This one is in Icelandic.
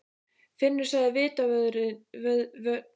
Finnur sagði vitavörðurinn og leit spyrjandi á Jón.